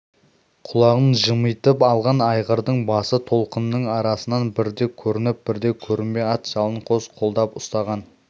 құлағын жымитып алған айғырдың басы толқынның арасынан бірде көрініп бірде көрінбей ат жалын қос қолдап ұстаған